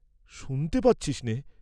শুনতে পাচ্ছিস নে?